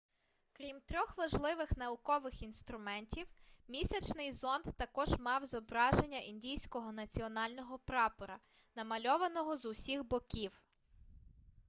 крім трьох важливих наукових інструментів місячний зонд також мав зображення індійського національного прапора намальованого з усіх боків